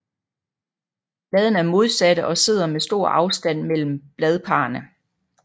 Bladene er modsatte og sidder med stor afstand mellem bladparrene